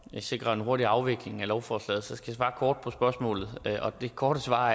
sikre en hurtig afvikling af lovforslaget skal jeg svare kort på spørgsmålet og det korte svar